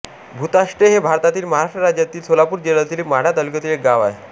भुताष्टे हे भारतातील महाराष्ट्र राज्यातील सोलापूर जिल्ह्यातील माढा तालुक्यातील एक गाव आहे